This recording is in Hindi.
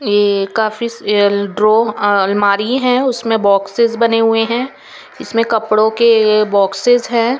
एक काफी ड्रॉ अह अलमारी हैं उसमें बॉक्सेस बने हुए हैं इसमें कपड़ों के बॉक्सेस हैं।